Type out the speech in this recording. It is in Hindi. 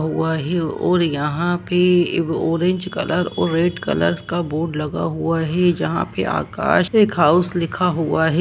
वही और यहा पे ऑरेंज कलर और रेड लर का बोर्ड लगा हुवा है जहा पे आकाश केक हाउस लिखा हुवा है।